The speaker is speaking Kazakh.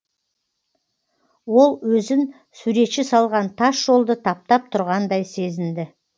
ол өзін суретші салған тас жолды таптап тұрғандай сезінді